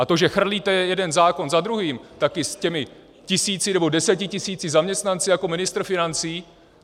A to, že chrlíte jeden zákon za druhým, taky s těmi tisíci, nebo desetitisíci zaměstnanci jako ministr financí.